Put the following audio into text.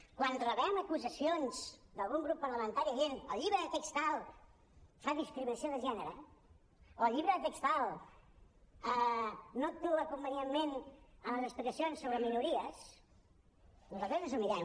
quan rebem acusacions d’algun grup parlamentari dient el llibre de text tal fa discriminació de gènere o el llibre de text tal no actua convenientment en les explicacions sobre minories nosaltres ens ho mirem